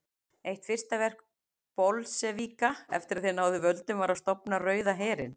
Eitt fyrsta verk Bolsévíka eftir að þeir náðu völdum var að stofna Rauða herinn.